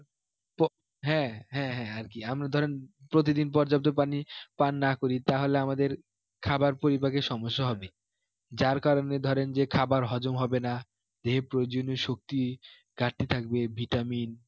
প~ হ্যাঁ হ্যাঁ হ্যাঁ আর কি আমরা ধরুন প্রতিদিন পর্যাপ্ত পানি পান না করি তাহলে আমাদের খাবার পরিপাকে সমস্যা হবে যার কারণে ধরেন যে খাবার হজম হবে না দেহে প্রয়জনীয় শক্তি ঘাটতে থাকবে vitamin